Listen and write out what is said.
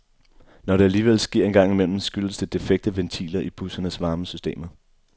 Når det alligevel sker en gang imellem, skyldes det defekte ventiler i bussernes varmesystemer.